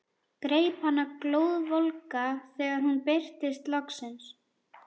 Greip hana glóðvolga þegar hún birtist loksins.